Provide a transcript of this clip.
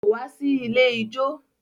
Kò wá sí ilé ijó.